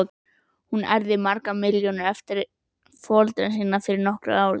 Hún erfði margar milljónir eftir foreldra sína fyrir nokkrum árum.